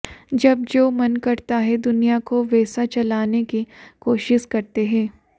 जब जो मन करता है दुनिया को वैसा चलाने की कोशिश करते हैं